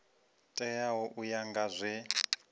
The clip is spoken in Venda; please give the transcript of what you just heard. teaho u ya nga zwe